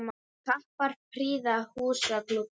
Kappar prýða húsa glugga.